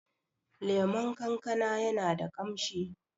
lemon kankana yana da kamshi